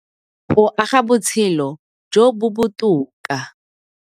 Go aga botshelo jo bo botoka.